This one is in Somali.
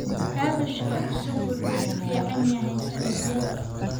Kaabashka cusub wuxuu ku fiican yahay saladhyada.